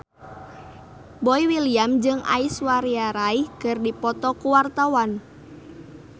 Boy William jeung Aishwarya Rai keur dipoto ku wartawan